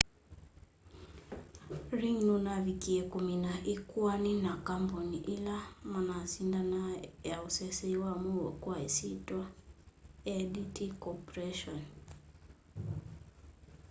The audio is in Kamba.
ring nunavikiie kumina ikoani na kambuni ila manasindanaa ya useseei wa muuo kwa isyitwa adt corporation